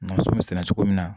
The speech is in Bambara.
Nɛgɛso bɛ sɛnɛ cogo min na